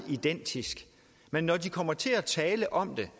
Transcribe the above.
identiske men når de kommer til at tale om det